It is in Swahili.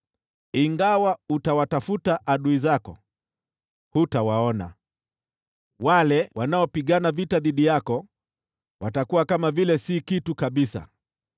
Ingawa utawatafuta adui zako, hutawaona. Wale wanaopigana vita dhidi yako watakuwa kama vile si kitu kabisa.